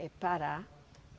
É Pará.